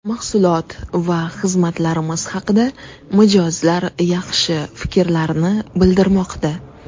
Mahsulot va xizmatlarimiz haqida mijozlar yaxshi fikrlarni bildirmoqda.